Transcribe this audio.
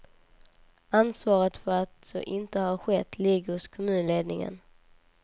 Ansvaret för att så inte har skett ligger hos kommunledningen.